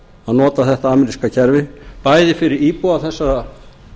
að nota þetta ameríska kerfi bæði fyrir íbúa þessara